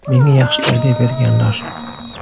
Menga yaxshi tarbiya berganlar.